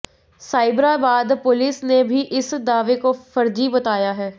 Cyberabad police ने भी इस दावे को फ़र्ज़ी बताया है